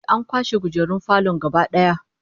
Ehh, an kwashe kujerun falon gaba daya